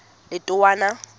letowana